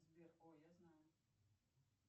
сбер о я знаю